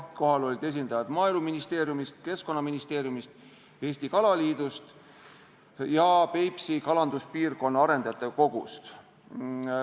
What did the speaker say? Kohal olid esindajad Maaeluministeeriumist, Keskkonnaministeeriumist, Eesti Kalaliidust ja Peipsi Kalanduspiirkonna Arendajate Kogust.